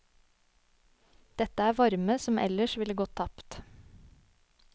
Dette er varme som ellers ville gått tapt.